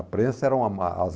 A prensa era uma